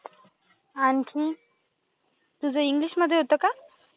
आणखी? तुझं इंग्लिशमध्ये होतं का?